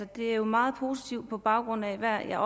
det er meget positivt på baggrund af at